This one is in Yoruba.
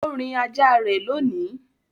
O rìn ajá rẹ lóni.